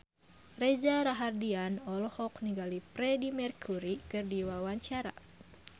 Reza Rahardian olohok ningali Freedie Mercury keur diwawancara